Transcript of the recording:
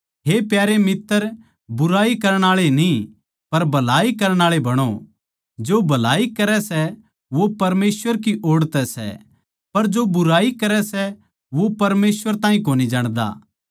हे प्यारे मित्तर बुराई करण आळे न्ही पर भलाई करण आळे बणो जो भलाई करै सै वो परमेसवर की ओड़ तै सै पर जो बुराई करै सै वो परमेसवर ताहीं कोनी जाणदा